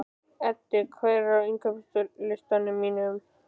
Eddi, hvað er á innkaupalistanum mínum?